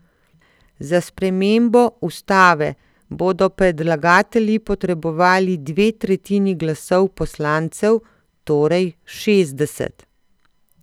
Za spremembo ustave bodo predlagatelji potrebovali dve tretjini glasov poslancev, torej šestdeset.